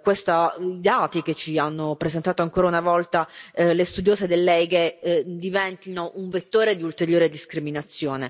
questi dati che emergono ancora una volta dagli studi effettuati diventino un vettore di ulteriore discriminazione.